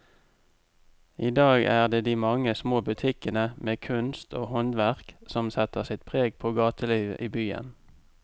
I dag er det de mange små butikkene med kunst og håndverk som setter sitt preg på gatelivet i byen.